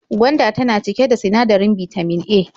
Gwanda tana cike da sinadarin bitamin A.